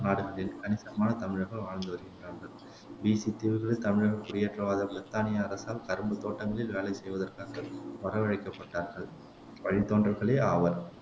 நாடுகளில் கணிசமான தமிழர்கள் வாழ்ந்து வருகின்றார்கள் பிசித் தீவுகளில் தமிழர்கள் குடியேற்றவாத பிரித்தானிய அரசால் கரும்புத் தோட்டங்களில் வேலை செய்வதற்காக வரவழைக்கப்பட்டார்கள் வழித்தோன்றல்களே ஆவர்